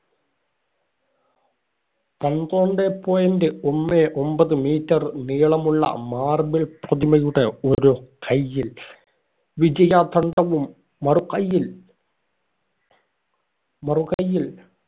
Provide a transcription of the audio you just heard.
പന്ത്രണ്ടേ point ഒന്നേ ഒമ്പത് meter നീളമുള്ള marble പ്രതിമയുടെ ഒരു കൈയിൽ വിജയദണ്ഡും മറു കൈയിൽ മറു കൈയിൽ